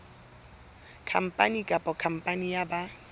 khampani kapa khampani ya ba